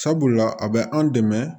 Sabula a bɛ an dɛmɛ